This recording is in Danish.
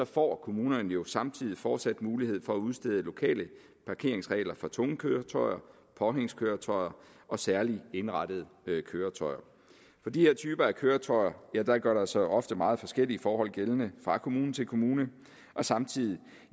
får kommunerne jo samtidig fortsat mulighed for at udstede lokale parkeringsregler for tunge køretøjer påhængskøretøjer og særligt indrettede køretøjer for de her typer af køretøjer gør der sig ofte meget forskellige forhold gældende fra kommune til kommune og samtidig